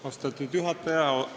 Austatud juhataja!